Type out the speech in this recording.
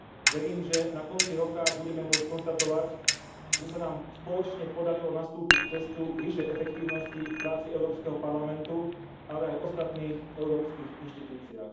Verím, že na konci roka budeme môcť konštatovať, že sa nám spoločne podarilo nastúpiť cestu k vyššej efektívnosti v práci Európskeho parlamentu, ale aj v ostatných európskych inštitúciách.